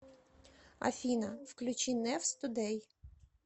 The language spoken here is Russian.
афина включи нэвс тудэй